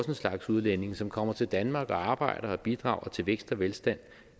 en slags udlændinge som kommer til danmark og arbejder og bidrager til vækst og velstand